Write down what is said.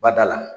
Bada la